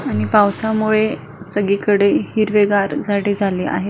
आणि पावसामुळे सगळीकडे हिरवेगार झाडे झाली आहे.